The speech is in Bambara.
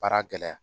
Baara gɛlɛya